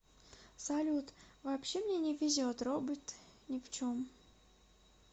салют вообще мне не везет робот не в чем